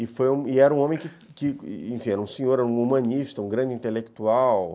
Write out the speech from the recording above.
E foi, e era um homem, enfim, era um senhor, um humanista, um grande intelectual.